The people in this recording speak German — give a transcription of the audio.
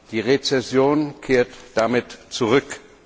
Die Rezession kehrt damit zurück.